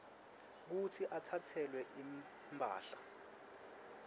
kutsi atsatselwe imphahla